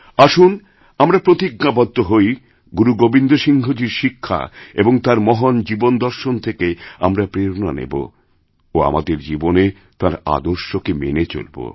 আসুন আমরা প্রতিজ্ঞাবদ্ধ হই গুরু গোবিন্দ সিংহজীর শিক্ষাএবং তাঁর মহান জীবন দর্শন থেকে আমরা প্রেরণা নেব ও আমাদের জীবনে তাঁর আদর্শকে মেনেচলব